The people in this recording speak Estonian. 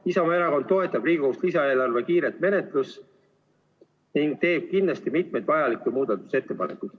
Isamaa Erakond toetab Riigikogus lisaeelarve kiiret menetlust ning teeb kindlasti mitmeid vajalikke muudatusettepanekuid.